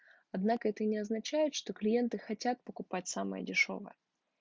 однако это не означает что клиенты хотят покупать самое дешёвое